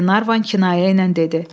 Qlenarvan kinayə ilə dedi.